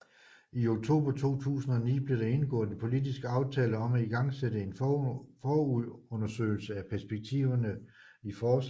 I oktober 2009 blev der indgået en politisk aftale om at igangsætte en forundersøgelse af perspektiverne i forslaget